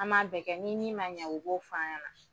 An b'a bɛɛ kɛ ni min ma ɲɛ u b'o f'a ɲɛna.